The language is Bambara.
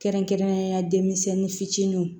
Kɛrɛnkɛrɛnnenya denmisɛnnin fitininw